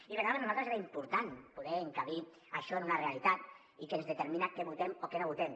i per nosaltres era important poder encabir això en una realitat que ens determina què votem o què no votem